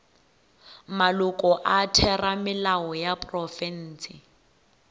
maloko a theramelao ya profense